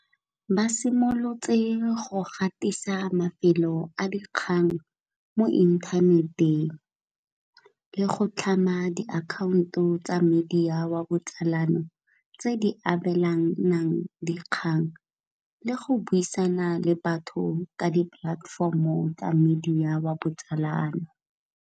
Ba simolotse go gatisa mafelo a dikgang mo inthaneteng le go tlhama di akhaonto tsa media oa botsalano, tse di abelanang dikgang le go buisana le batho ka di platform o tsa media o a botsalano.